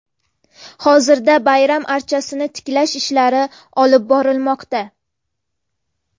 Hozirda bayram archasini tiklash ishlari olib borilmoqda.